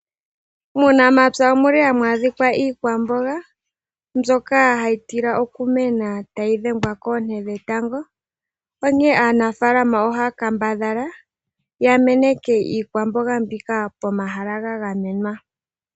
Muunamapya omu li hamu adhika iikwamboga mbyoka ha yi tila oku mena tayi dhengwa koonte dhetango, onkene aanafaalama ohaya kambadhala ya meneke iikwamboga mbika pomahala ga gamenwa.